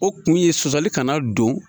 O kun ye sɔsɔli kana don.